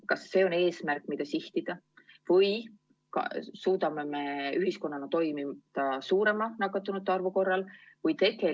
Kas see on eesmärk, mida sihtida, või suudame ühiskonnana toimida ka suurema nakatunute arvu korral?